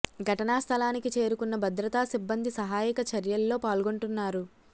ఘటనా స్థలానికి చేరుకున్న భద్రతా సిబ్బంది సహాయక చర్యల్లో పాల్గొంటున్నారు